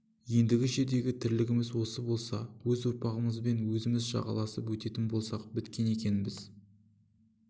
ендігі жердегі тірлігіміз осы болса өз ұрпағымызбен өзіміз жағаласып өтетін болсақ біткен екенбіз